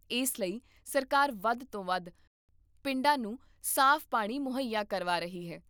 ਇਸ ਲਈ ਸਰਕਾਰ ਵੱਧ ਤੋਂ ਵੱਧ ਪਿੰਡਾਂ ਨੂੰ ਸਾਫ਼ ਪਾਣੀ ਮੁਹੱਈਆ ਕਰਵਾ ਰਹੀ ਹੈ